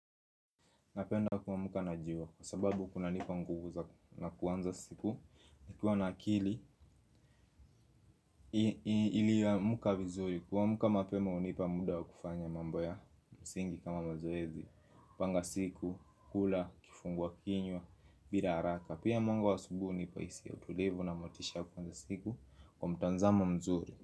Napenda kuamka na jiwa kwa sababu kuna nipa nguvu za kuanza siku. Nikuwa na akili iliyoamka vizuri. Kuamka mapema hunipa muda kufanya mambo ya msingi kama mazoezi kupanga siku, kula kifungua kinywa, bila haraka. Pia mwanga wa asubuhi hunipa hisia ya utulivu na motisha ya kuanza siku kwa mtanzamo mzuri.